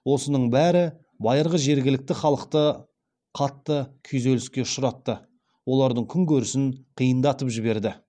осының бәрі байырғы жергілікті халықты қатты күйзеліске ұшыратты олардың күн көрісін қиындатып жіберді